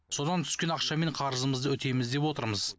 содан түскен ақшамен қарызымызды өтейміз деп отырмыз